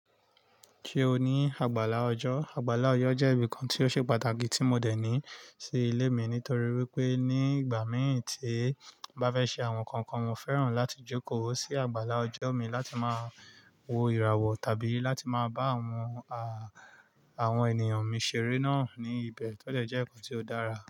Ṣé o ní àgbàlá ọjọ́? Àgbàlá ọjọ́ jẹ́ ibìkan tí ó ṣe pàtàkì tí mo dẹ̀ ní sí ilé mi nítorí wípé ní ìgbà mí è tí bá fẹ́ ṣe àwon kankan, mo féràn láti jókòó sí àgbàlá ọjọ́ mi láti máa wo ìràwọ̀ tàbí láti máa bá àwon, à, àwon ènìyàn mi ṣeré náà ní ibẹ̀. Tó dẹ̀ jẹ́ nkan tí ó dára.